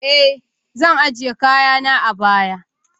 eh, zan ajiye kayana a baya